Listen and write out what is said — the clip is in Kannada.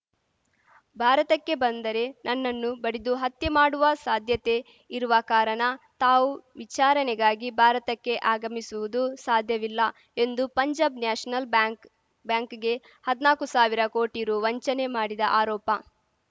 ಭಾರತಕ್ಕೆ ಬಂದರೆ ನನ್ನನ್ನು ಬಡಿದು ಹತ್ಯೆ ಮಾಡುವ ಸಾಧ್ಯತೆ ಇರುವ ಕಾರಣ ತಾವು ವಿಚಾರಣೆಗಾಗಿ ಭಾರತಕ್ಕೆ ಆಗಮಿಸುವುದು ಸಾಧ್ಯವಿಲ್ಲ ಎಂದು ಪಂಜಾಬ್‌ ನ್ಯಾಷನಲ್‌ ಬ್ಯಾಂಕ್‌ ಬ್ಯಾಂಕ್‌ಗೆ ಹದ್ನಾಲ್ಕು ಸಾವಿರ ಕೋಟಿ ರು ವಂಚನೆ ಮಾಡಿದ ಆರೋಪ